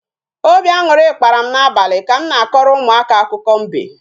Obi añụrị kpara m n'abalị ka m na-akọrọ ụmụaka akụkọ mbe